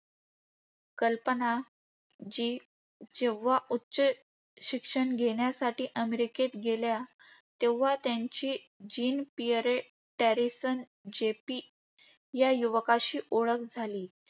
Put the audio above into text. कल्पना जी जेव्हा उच्च घेण्यासाठी अमेरिकेत गेल्या, तेव्हा त्यांची जीन पियरे टॅरिसन JP या युवकाशी ओळख झाली.